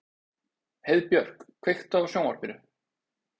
Heiðbjörk, kveiktu á sjónvarpinu.